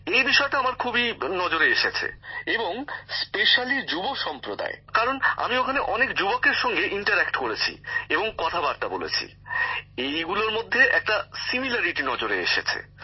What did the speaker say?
এই বিষয়টা আমার খুবই নজরে এসেছে এবং বিশেষত যুব সম্প্রদায় কারণ আমি ওখানে অনেক যুবকের সঙ্গে মতবিনিময় করেছি এবং কথাবার্তা বলেছি এসবের মধ্যে একটা মিল আমার নজরে এসেছে